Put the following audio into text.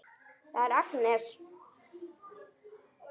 Það er Agnes.